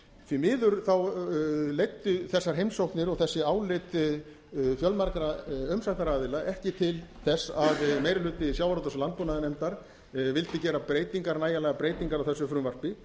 því miður þá leiddi þessar heimsóknir og þessi álit fjölmargra umsagnaraðila ekki til þess að meiri hluti sjávarútvegs og landbúnaðarnefndar vildi gera nægilegar breytingar á þessu frumvarpi